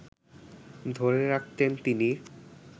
ধরে রাখতেন তিনি